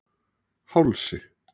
Hálsi